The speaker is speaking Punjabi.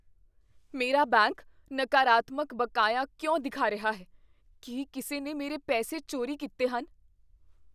ਮੇਰਾ ਬੈਂਕ ਨਕਾਰਤਮਕ ਬਕਾਇਆ ਕਿਉਂ ਦਿਖਾ ਰਿਹਾ ਹੈ? ਕੀ ਕਿਸੇ ਨੇ ਮੇਰੇ ਪੈਸੇ ਚੋਰੀ ਕੀਤੇ ਹਨ?